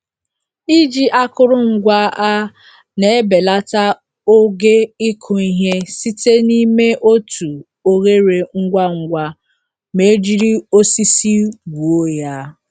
Iji akụrụngwa a na-ebelata oge ịkụ ihe site n'ime otu oghere ngwa ngwa ma e jiri osisi gwuo ya.